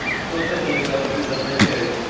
противный